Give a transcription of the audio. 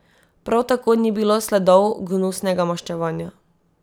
Prav tako ni bilo sledov gnusnega maščevanja.